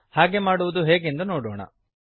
ಹಾಗೆ ಮಾಡುವುದು ಹೇಗೆಂದು ನೋಡೋಣ